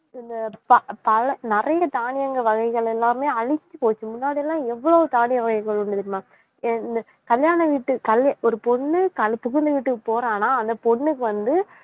ப~ பல நிறைய தானியங்கள் வகைகள் எல்லாமே அழிஞ்சு போச்சு முன்னாடிலாம் எவ்ளோ தானிய வகைகள் உண்டு தெரியுமா கல்யாண வீட்டு கல்~ ஒரு பொண்ணு கல்~ புகுந்த வீட்டுக்கு போறான்னா அந்த பொண்ணுக்கு வந்து